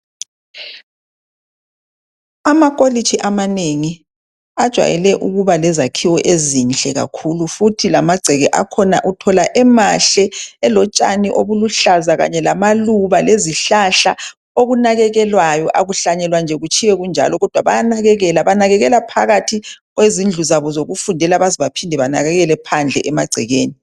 Amakolitshi amanengi ajwayele ukuba lezakhiwo ezinhle kakhulu futhi lamagceke akhona uthola emahle elotshani obuluhlaza kanye lamaluba lezihlahla okunakekelwayo . Akuhlanyelwa nje kutshiywe kunjalo kodwa bayanakekela. Banakekela phakathi kwezindlu zabo zokufundela baze baphinde banakekele phandle emagcekeni.